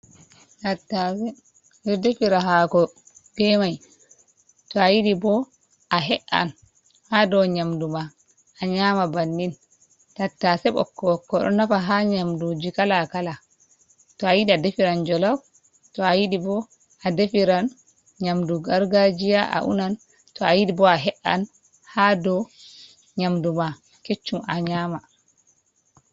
Tattase ɓeɗo defira hako be mai, to a yidi bo a he’an ha do nyamdu ma a nyama bannin, tattase ɓokko ɓokko ɗo nafa ha nyamduji kala kala, to a yiɗi a defiran jolof, to a yiɗi bo a defiran nyamdu argajiya, a unan to a yidi bo a he’an ha do nyamdu ma keccum a nyama.